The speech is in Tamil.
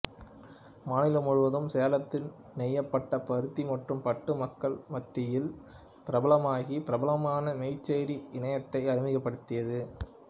மாநிலம் முழுவதும் சேலத்தில் நெய்யப்பட்ட பருத்தி மற்றும் பட்டு மக்கள் மத்தியில் பிரபலமாகி பிரபலமான மெச்சேரி இனத்தை அறிமுகப்படுத்தியது